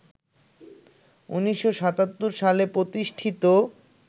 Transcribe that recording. ১৯৭৭ সালে প্রতিষ্ঠিত